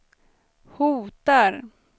hotar